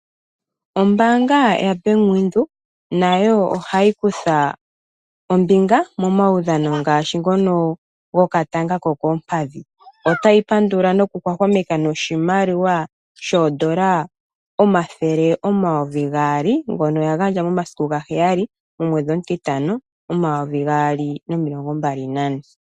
Ombaanga yaBank windhoek nayo ohayi kutha ombinga momawudhano ngaashi ngono gokatanga kokoompadhi ,otayi pandula noku hwahwameka noshimaliwa shoondola omathele omayovi gaali ngono yagandja momasiku gaheyali omwedhi omutitano 2024.